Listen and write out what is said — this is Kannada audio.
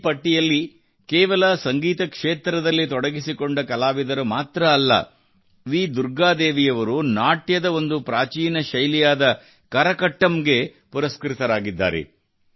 ಈ ಪಟ್ಟಿಯಲ್ಲಿ ಕೇವಲ ಸಂಗೀತ ಕ್ಷೇತ್ರದಲ್ಲಿ ತೊಡಗಿಸಿಕೊಂಡ ಕಲಾವಿದರು ಮಾತ್ರ ಅಲ್ಲ ವಿ ದುರ್ಗಾ ದೇವಿಯವರು ನಾಟ್ಯದ ಒಂದು ಪ್ರಾತೀನ ಶೈಲಿಯಾದ ಕರಕಟ್ಟಂದಿ ಪುರಸ್ಕೃತರಾಗಿದ್ದಾರೆ